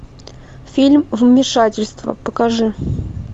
фильм вмешательство покажи